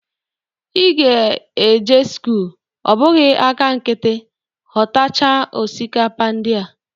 Ị ga-eje sikul, ọ bụghi aka nkiti, ghọtacha osikapa ndị a.